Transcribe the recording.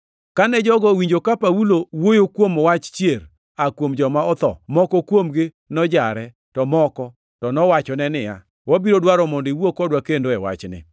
Kane jogo owinjo ka Paulo wuoyo kuom wach chier aa kuom joma otho, moko kuomgi nojare, to moko to nowachone niya, “Wabiro dwaro mondo iwuo kodwa kendo e wachni.”